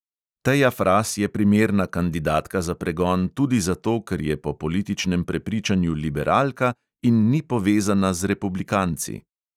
Teja fras je primerna kandidatka za pregon tudi zato, ker je po političnem prepričanju liberalka in ni povezana z republikanci.